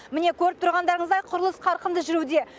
міне көріп тұрғандарыңыздай құрылыс қарқынды жүруде